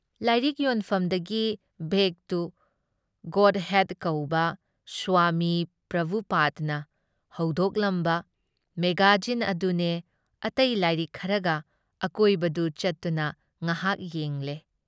ꯂꯥꯏꯔꯤꯛ ꯌꯣꯟꯐꯝꯗꯒꯤ back to Godhead ꯀꯧꯕ ꯁ꯭ꯋꯥꯃꯤ ꯄ꯭ꯔꯚꯨꯄꯥꯗꯅ ꯍꯧꯗꯣꯛꯂꯝꯕ ꯃꯦꯒꯥꯖꯤꯟ ꯑꯗꯨꯅꯦ ꯑꯇꯩ ꯂꯥꯏꯔꯤꯛ ꯈꯔ ꯂꯩꯔꯒ ꯑꯀꯣꯏꯕꯗꯨ ꯆꯠꯇꯨꯅ ꯉꯍꯥꯛ ꯌꯦꯡꯂꯦ ꯫